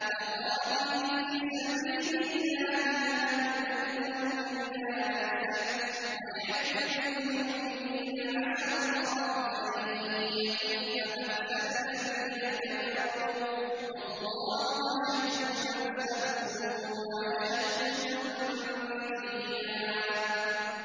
فَقَاتِلْ فِي سَبِيلِ اللَّهِ لَا تُكَلَّفُ إِلَّا نَفْسَكَ ۚ وَحَرِّضِ الْمُؤْمِنِينَ ۖ عَسَى اللَّهُ أَن يَكُفَّ بَأْسَ الَّذِينَ كَفَرُوا ۚ وَاللَّهُ أَشَدُّ بَأْسًا وَأَشَدُّ تَنكِيلًا